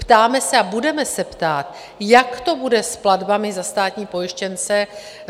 Ptáme se a budeme se ptát: jak to bude s platbami za státní pojištěnce?